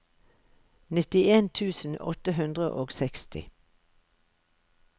nittien tusen åtte hundre og seksti